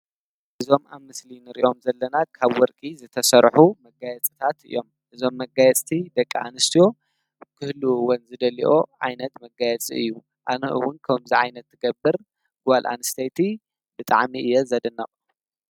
እዞም አብ ምሰሊ እንሪኦም ዘለና ካብ ወርቂ ዝተሰርሑ መጋየፅታት እዮም። እዞም መጋየፅቲ ደቂ አንስትዮ ክህልዉዎን ዝደልይኦ ዓይነት መጋየፂ እዩ። አነ እዉን ከምዚ ዓይነት ትገብር ጓል አንስተይቲ ብጣዕሚ እየ ዘደንቅ።